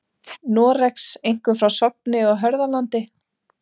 Noregs, einkum frá Sogni og Hörðalandi.